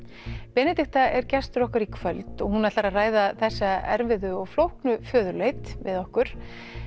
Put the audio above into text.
Benedikta er gestur okkar í kvöld og hún ætlar að ræða þessa erfiðu og flóknu föðurleit við okkur